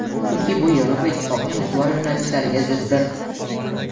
chunki bu Yevropa Ittifoqining ustuvor yo‘nalishlariga ziddir.